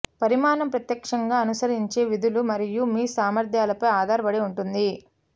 పరిమాణం ప్రత్యక్షంగా అనుసరించే విధులు మరియు మీ సామర్థ్యాలపై ఆధారపడి ఉంటుంది